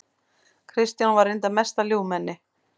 Kristján var reyndar mesta ljúfmenni.